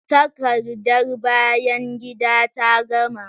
Takardar bayan gida ta gama.